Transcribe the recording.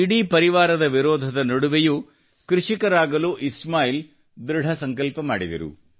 ಇಡೀ ಪರಿವಾರದ ವಿರೋಧದ ನಡುವೆಯೂ ಕೃಷಿಕರಾಗಲು ಇಸ್ಮಾಯಿಲ್ ದೃಢಸಂಕಲ್ಪ ಮಾಡಿದರು